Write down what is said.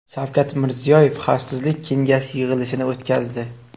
Shavkat Mirziyoyev Xavfsizlik kengashi yig‘ilishini o‘tkazdi.